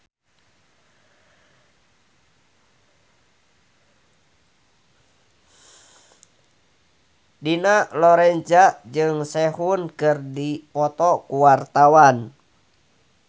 Dina Lorenza jeung Sehun keur dipoto ku wartawan